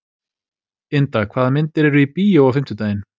Ynda, hvaða myndir eru í bíó á fimmtudaginn?